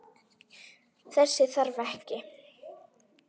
Þess þarf ekki.